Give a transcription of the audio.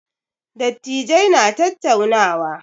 Dattijai na tattaunawa.